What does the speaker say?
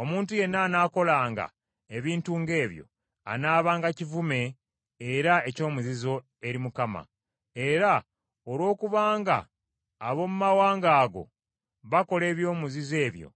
Omuntu yenna anaakolanga ebintu ng’ebyo, anaabanga kivume era ekyomuzizo eri Mukama . Era olwokubanga ab’omu mawanga ago bakola ebyomuzizo ebyo,